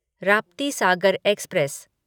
Raptisagar express